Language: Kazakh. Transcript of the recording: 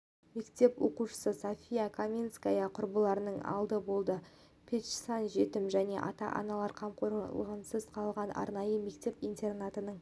мектеп оқушысы софия каминская құрбыларының алды болды песчан жетім және ата-анасының қамқорынсыз қалған арнайы мектеп-интернатының